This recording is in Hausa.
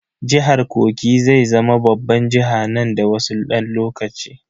Jihar Kogi zai zama babban jiha nan da wasu dan lokaci.